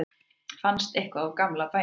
fannst eitthvað úr gamla bænum